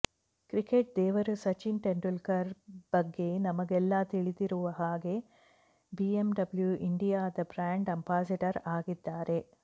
cricket ದೇವರು ಸಚಿನ್ ತೆಂಡೂಲ್ಕರ್ ಬಗ್ಗೆ ನಮಗೆಲ್ಲಾ ತಿಳಿದಿರುವ ಹಾಗೆ ಬಿಎಂಡಬ್ಲ್ಯು ಇಂಡಿಯಾದ ಬ್ರ್ಯಾಂಡ್ ಅಂಬಾಸಿಡರ್ ಆಗಿದ್ದಾರೆ